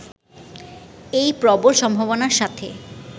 এই প্রবল সম্ভাবনার সাথে